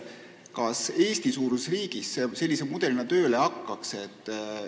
Kas Eesti-suuruses riigis see sellise mudelina tööle hakkaks?